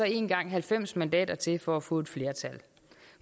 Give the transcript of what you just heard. engang halvfems mandater til for at få et flertal